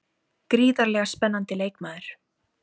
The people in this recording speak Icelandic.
Gríðarlega spennandi leikmaður.